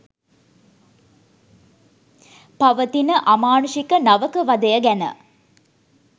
පවතින අමානුෂික නවක වදය ගැන